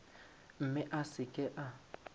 mme a se ke a